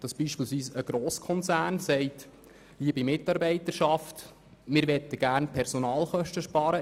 Es kommt vor, dass zum Beispiel ein Grosskonzern seinen Mitarbeitenden sagt, er möchte Personalkosten sparen.